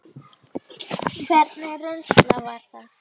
Hvernig reynsla var það?